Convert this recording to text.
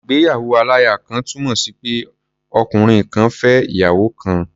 Ìgbéyàwó-aláya-kan túnmọ̀ sí pé ọkùnrin kan fẹ́ ìyàwó kan.